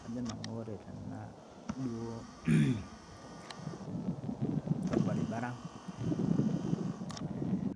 Kaajo nanu oree tena duo orbaribara